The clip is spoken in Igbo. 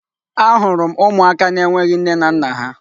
Ahụrụ m ụmụaka na-enweghị nne na nna ha.